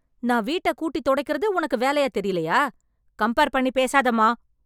நான் வீட்டக் கூட்டி தொடைக்கறது உனக்கு வேலையா தெரியலயா... கம்பேர் பண்ணி பேசாதேமா.